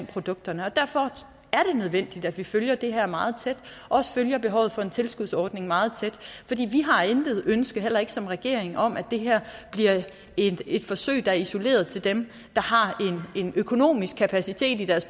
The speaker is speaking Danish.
produkterne derfor er det nødvendigt at vi følger det her meget tæt og også følger behovet for en tilskudsordning meget tæt vi har intet ønske heller ikke som regering om at det her bliver et et forsøg der er isoleret til dem der har en økonomisk kapacitet i deres